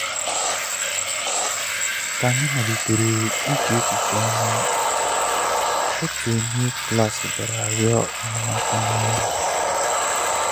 ka anyị malitere iche echiche ọnụ otu onye klas bịara arịọ enyemaka n’ọrụ.